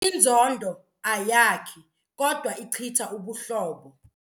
Inzondo ayakhi kodwa ichitha ubuhlobo.